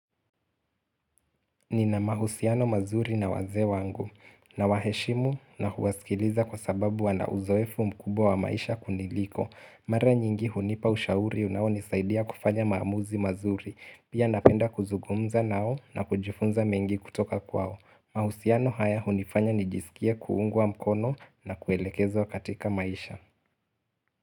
Nina mahusiano mazuri na wazee wangu. Na waheshimu na huwaskiliza kwa sababu wana uzoefu mkubwa wa maisha kuniliko. Mara nyingi hunipa ushauri unao nisaidia kufanya maamuzi mazuri. Pia napenda kuzugumza nao na kujifunza mengi kutoka kwao. Mahusiano haya hunifanya nijisikia kungwa mkono na kuelekezwa katika maisha.